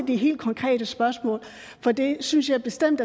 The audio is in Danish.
de helt konkrete spørgsmål for det synes jeg bestemt